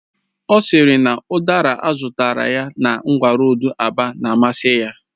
Ọ sịrị na udara azụtara na ngwa roodu Aba na amasị ya